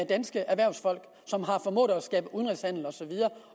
danske erhvervsfolk som har formået at skabe udenrigshandel og så videre